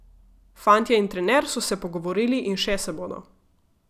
Fantje in trener so se pogovorili in še se bodo.